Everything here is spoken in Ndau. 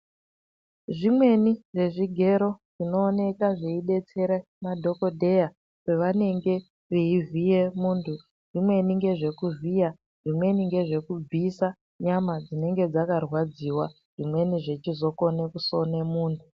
Zvimweni zvezvigero zvinooneka zveidetsere madhokodheya pavanenge veivhiye muntu zvimweni ngezvekuvhiya zvimweni ngezvekubvisa nyama dzinenge dzakarwadziwa zvimweni zvechizokone kusina munhu.